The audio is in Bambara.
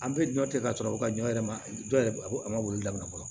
An bɛ ɲɔ tɛ ka sɔrɔ ko ka ɲɔ yɛrɛ ma jɔ a ma weele daminɛ fɔlɔ